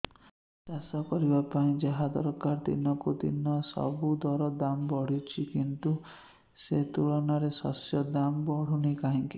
ଚାଷ କରିବା ପାଇଁ ଯାହା ଦରକାର ଦିନକୁ ଦିନ ସେସବୁ ର ଦାମ୍ ବଢୁଛି କିନ୍ତୁ ସେ ତୁଳନାରେ ଶସ୍ୟର ଦାମ୍ ବଢୁନାହିଁ କାହିଁକି